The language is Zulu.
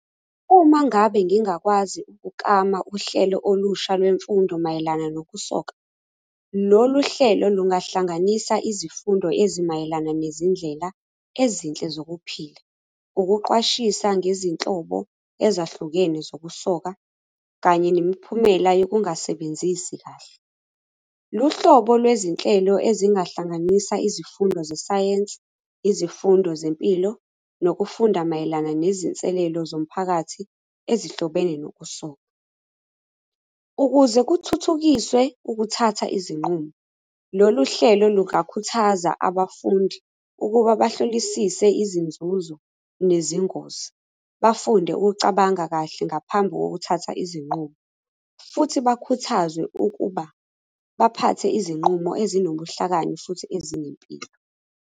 Uma ngabe ngingakwazi ukuklama uhlelo olusha lwemfundo mayelana nokusoka, lolu hlelo lungahlanganisa izifundo ezimayelana nezindlela ezinhle zokuphila. Ukuqwashisa ngezinhlobo ezahlukene zokusoka, kanye nemiphumela yokungasebenzisi kahle. Luhlobo lwezinhlelo ezingahlanganisa izifundo zesayensi, izifundo zempilo, nokufunda mayelana nezinselelo zomphakathi ezihlobene nokusoka. Ukuze kuthuthukiswe ukuthatha izinqumo, lolu hlelo lungakhuthaza abafundi, ukuba bahlolisise izinzuzo nezingozi. Bafunde ukucabanga kahle ngaphambi kokuthatha izinqumo, futhi bakhuthazwe ukuba baphathe izinqumo ezinobuhlakani futhi ezinempilo.